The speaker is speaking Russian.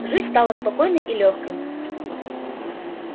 жизнь стала спокойной и лёгкой